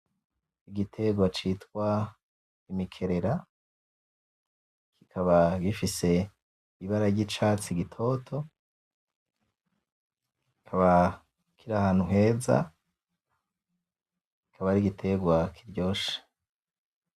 Igiterwa citwa imikerera kikaba gifise ibara ry'icatsi gitoto kikaba kiri ahantu heza kikaba ari igitegwa kiryoshe.